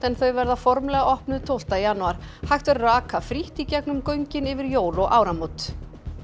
en þau verða formlega opnuð tólfta janúar hægt verður að aka frítt í gegnum göngin yfir jól og áramót